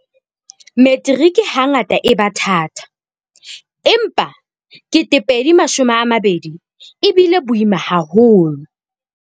"Metiriki hangata e ba thata, empa 2020 e bile boima haholo."